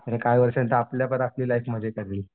आणि काही वर्षाने तर आपल्या लाईफ मजे करील.